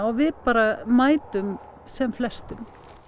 við bara mætum sem flestum